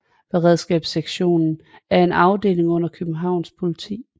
Beredskabssektionen er en afdeling under Københavns Politi